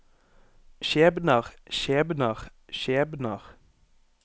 skjebner skjebner skjebner